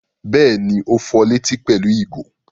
Bẹ́ẹ̀ni, ó fọ létí pẹ̀lú ìgò.